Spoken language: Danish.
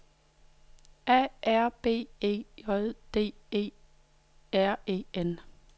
A R B E J D E R E N